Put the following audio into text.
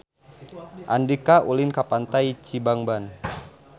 Andika ulin ka Pantai Cibangban